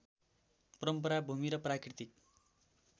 परम्परा भूमि र प्राकृतिक